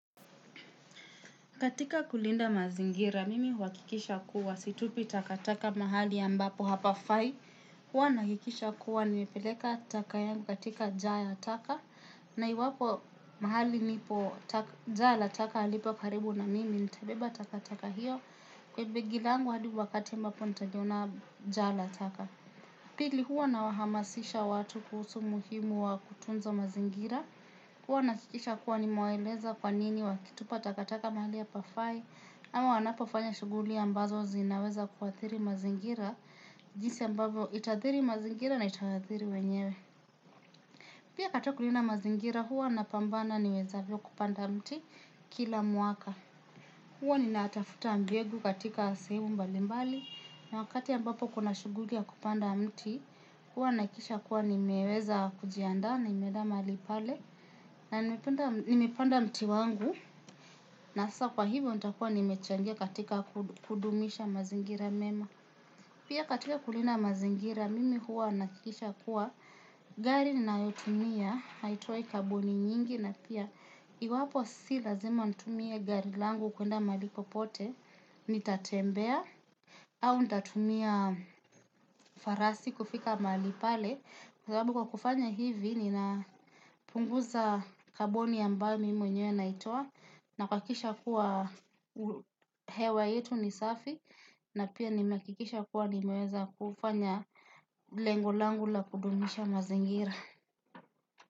Katika kulinda mazingira, mimi huhakikisha kuwa situpi takataka mahali ambapo hapa fai. Huwa na hakikisha kuwa nimepeleka taka yangu katika jaa ya taka. Na iwapo mahali nipo ja la taka halipo karibu na mimi nitebeba takataka hiyo. Kwa begi langu adi wakati ambapo nitaliona jaa la takaka. Pili huwa na wahamasisha watu kuhusu umuhimu wa kutunza mazingira. Huwa nahakikisha kuwa nime waeleza kwanini wakitupa takataka mahali hapafai. Ama wanapofanya shughuli ambazo zinaweza kuathiri mazingira. Jinsi ambavyo ita athiri mazingira na ita athiri wenyewe. Pia kato kulinda mazingira huwa napambana niwezavyo kupanda mti kila mwaka. Huwa ni natafuta mbegu katika sehemu mbalimbali. Na wakati ambapo kuna shughuli ya kupanda mti huwa nahakikiisha kuwa nimeweza kujianda na nime enda mahali pale. Na nimepanda mti wangu. Na sasa kwa hivyo nita kuwa nimechangia katika kudumisha mazingira mema. Pia katika kulinda mazingira mimi huwa nahakikisha kuwa gari ninayotumia haitoi kaboni nyingi na pia iwapo si lazima nitumie gari langu kuenda mahali poote Nitatembea Au nitatumia farasi kufika mahali pale. Kwa sababu kwa kufanya hivi nina punguza kaboni ambayo mimi mwenyewe naitoa na kuhakikisha kuwa hewa yetu ni safi na pia nimehakikisha kuwa nimeweza kufanya lengo langu la kudumisha mazingira.